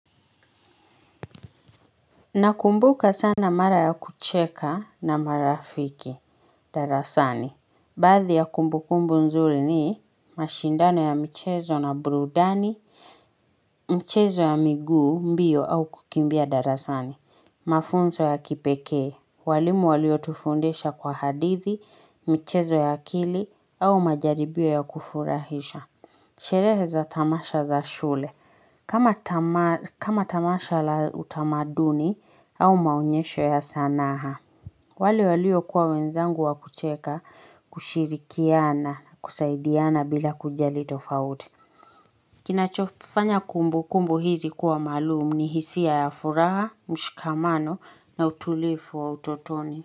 Na kumbuka sana mara ya kucheka na marafiki, darasani. Baadhi ya kumbukumbu nzuri ni mashindano ya mchezo na burudani, mchezo ya miguu mbio au kukimbia darasani, mafunzo ya kipekee, walimu walio tufundisha kwa hadithi, mchezo ya akili au majaribio ya kufurahisha. Sherehe za tamasha za shule kama tamasha la utamaduni au maonyesho ya sanaha wale walio kuwa wenzangu wa kucheka kushirikiana kusaidiana bila kujali tofauti Kinacho fanya kumbukumbu hizi kuwa maalumu ni hisia ya furaha, mshikamano na utulivu wa utotoni.